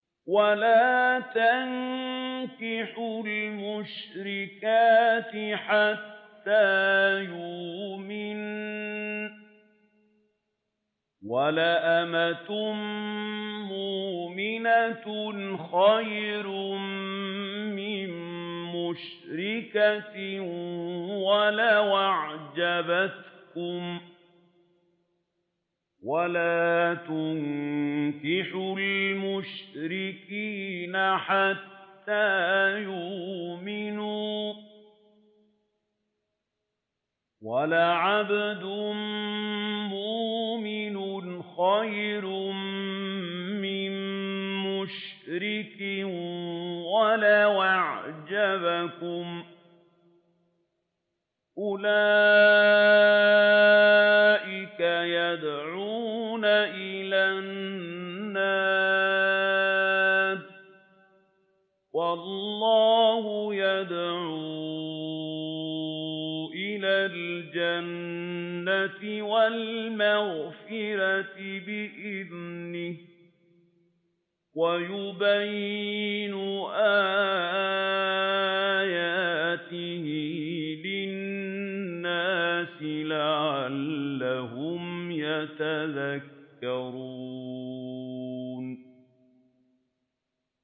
وَلَا تَنكِحُوا الْمُشْرِكَاتِ حَتَّىٰ يُؤْمِنَّ ۚ وَلَأَمَةٌ مُّؤْمِنَةٌ خَيْرٌ مِّن مُّشْرِكَةٍ وَلَوْ أَعْجَبَتْكُمْ ۗ وَلَا تُنكِحُوا الْمُشْرِكِينَ حَتَّىٰ يُؤْمِنُوا ۚ وَلَعَبْدٌ مُّؤْمِنٌ خَيْرٌ مِّن مُّشْرِكٍ وَلَوْ أَعْجَبَكُمْ ۗ أُولَٰئِكَ يَدْعُونَ إِلَى النَّارِ ۖ وَاللَّهُ يَدْعُو إِلَى الْجَنَّةِ وَالْمَغْفِرَةِ بِإِذْنِهِ ۖ وَيُبَيِّنُ آيَاتِهِ لِلنَّاسِ لَعَلَّهُمْ يَتَذَكَّرُونَ